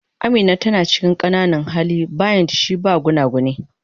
Amina tana cikin qananan hali, buymt shi ba gunaguni.